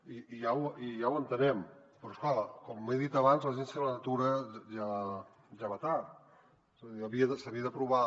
i ja ho entenem però és clar com he dit abans l’agència de la natura ja va tard és a dir s’havia d’aprovar